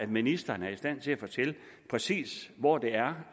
ministeren er i stand til at fortælle præcis hvor det er